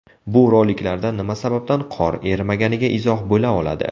Bu roliklarda nima sababdan qor erimaganiga izoh bo‘ladi oladi.